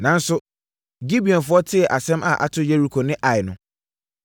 Nanso Gibeonfoɔ tee asɛm a ato Yeriko ne Ai no,